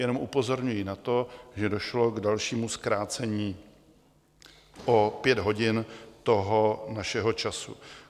Jenom upozorňuji na to, že došlo k dalšímu zkrácení o pět hodin toho našeho času.